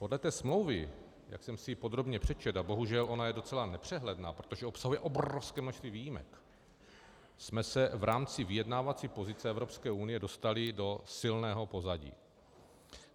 Podle té smlouvy, jak jsem si ji podrobně přečetl, a bohužel ona je docela nepřehledná, protože obsahuje obrovské množství výjimek, jsme se v rámci vyjednávací pozice Evropské unie dostali do silného pozadí.